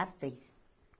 As três.